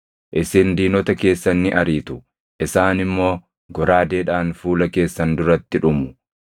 Isin diinota keessan ni ariitu; isaan immoo goraadeedhaan fuula keessan duratti dhumu.